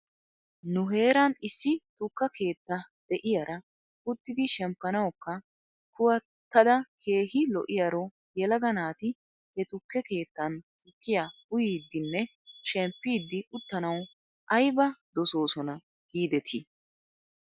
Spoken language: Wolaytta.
Nu heeran issi tukka keetta de'iyaara uttidi shemppanawkka kuwattada keehi lo'iyaaro yelaga naati he tukke keettan tukkiyaa uyiiddinne shempiidi uttanaw ayba dosoosona giidetii?